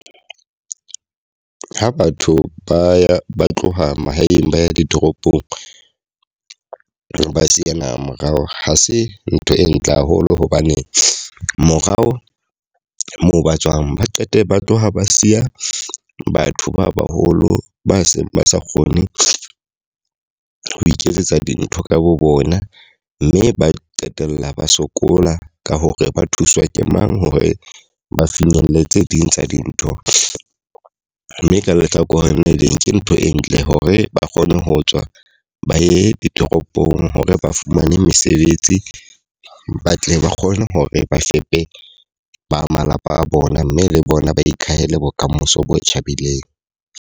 Ha batho ba ba tloha mahaeng ba ye ditoropong, ba siya naha morao. Ha se ntho e ntle haholo hobane morao moo ba tswang ba qete ba tloha ba siya batho ba baholo ba seng ba sa kgone ho iketsetsa dintho ka bo bona. Mme ba qetella ba sokola ka hore ba thuswa ke mang hore ba finyelle tse ding tsa dintho. Mme ka lehlakoreng le leng ke ntho e ntle hore ba kgone ho tswa ba ye ditoropong hore ba fumane mesebetsi, ba tle ba kgone hore ba fepe ba malapa a bona. Mme le bona ba ikahele bokamoso bo tjhabileng.